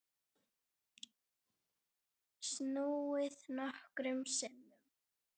Snúið nokkrum sinnum.